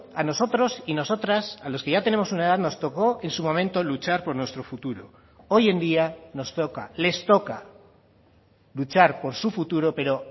a nosotros y nosotras a los que ya tenemos una edad nos tocó en su momento luchar por nuestro futuro hoy en día nos toca les toca luchar por su futuro pero